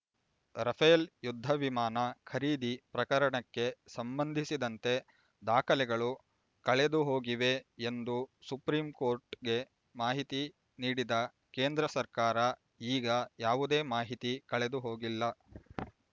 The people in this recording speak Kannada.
ರಫೇಲ್ ಯುದ್ಧ ವಿಮಾನ ಖರೀದಿ ಪ್ರಕರಣಕ್ಕೆ ಸಂಬಂಧಿಸಿದಂತೆ ದಾಖಲೆಗಳು ಕಳೆದುಹೋಗಿವೆ ಎಂದು ಸುಪ್ರೀಂ ಕೋರ್ಟ್‌ಗೆ ಮಾಹಿತಿ ನೀಡಿದ ಕೇಂದ್ರ ಸರ್ಕಾರ ಈಗ ಯಾವುದೇ ಮಾಹಿತಿ ಕಳೆದುಹೋಗಿಲ್ಲ